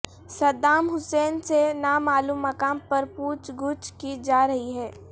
Saddam Hussein سے نامعلوم مقام پر پوچھ گچھ کی جا رہی ہے